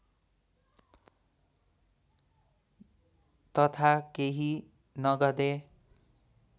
तथा केही नगदे